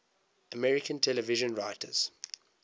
american television writers